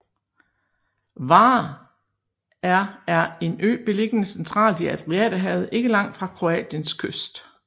Hvar er er en ø beliggende centralt i Adriaterhavet ikke langt fra Kroatiens kyst